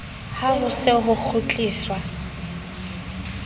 ha ho se ho kgutliswa